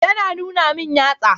Ya na nuna min yatsa.